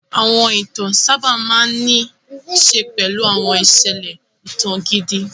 Àwọn ìtàn ìtàn sábà máa ń ní í ṣe pẹ̀lú àwọn ìṣẹ̀lẹ̀ ìtàn gidi.